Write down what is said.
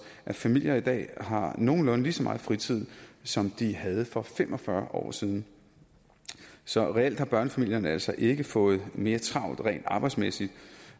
at familier i dag har nogenlunde lige så meget fritid som de havde for fem og fyrre år siden så reelt har børnefamilierne altså ikke fået mere travlt rent arbejdsmæssigt